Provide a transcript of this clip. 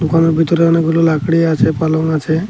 দোকানের ভেতরে অনেকগুলো লাকড়ি আছে পালং আছে।